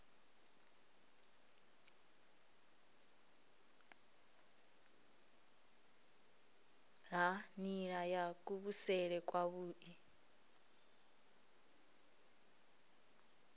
ha nila ya kuvhusele kwavhui